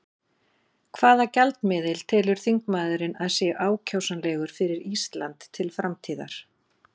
Hvaða gjaldmiðil telur þingmaðurinn að sé ákjósanlegur fyrir Ísland til framtíðar?